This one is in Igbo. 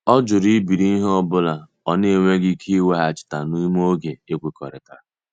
Ọ jụrụ ibiri ihe ọ bụla ọ na-enweghị ike ịweghachi n'ime oge ekwekọrịtara.